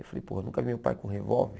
Eu falei, pô, eu nunca vi meu pai com revólver.